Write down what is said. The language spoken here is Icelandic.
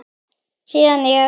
Síðan ég